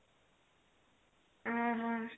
ଉଁ ହଁ